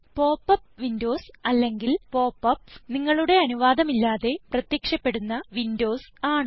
pop up windows അല്ലെങ്കിൽ pop ups നിങ്ങളുടെ അനുവാധം ഇല്ലാതെ പ്രത്യക്ഷപ്പെടുന്ന വിൻഡോസ് ആണ്